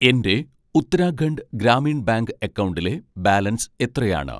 എൻ്റെ ഉത്തരാഖണ്ഡ് ഗ്രാമീൺ ബാങ്ക് അക്കൗണ്ടിലെ ബാലൻസ് എത്രയാണ്